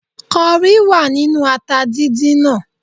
Kọrí wà nínú ata dídín náà